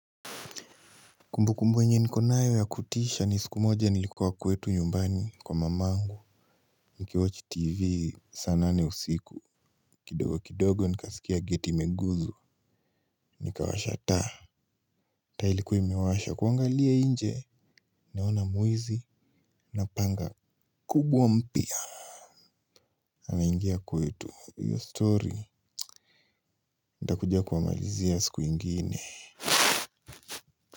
Kumbukumbu yenye niko nayo ya kutisha ni siku moja nilikuwa kwetu nyumbani kwa mamangu. Nikiwatch tv saa nane usiku kidogo kidogo nikasikia gate imeguzwa. Nikawasha taa. Taa ilikuwa imewasha kuangalia nje naona mwizi na panga kubwa mpya. Ameigia kwetu hiyo story ntakuja kuwamalizia siku ingine.